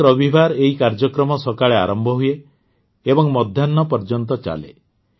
ପ୍ରତ୍ୟେକ ରବିବାର ଏହି କାର୍ଯ୍ୟକ୍ରମ ସକାଳେ ଆରମ୍ଭ ହୁଏ ଏବଂ ମଧ୍ୟାହ୍ନ ପର୍ଯ୍ୟନ୍ତ ଚାଲେ